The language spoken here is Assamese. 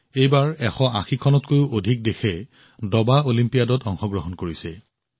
এইবাৰ ১৮০খনত কৈও অধিক দেশে দবা অলিম্পিয়াডত অংশগ্ৰহণ কৰিছে